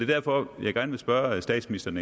derfor jeg gerne vil spørge statsministeren